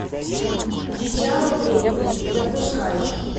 дитя во времени запускай